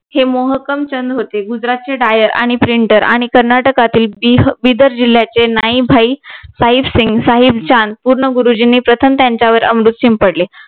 हे मोहकमचंद होते गुजरातचे DIER आणि PRINTER आणि कर्नाटकातील बिदर जिल्ह्याचे नाईभाई साहिब सिंग साहिब चांद पूर्ण गुरुजींनी प्रथम त्यांच्यावर अमृत शिंपडले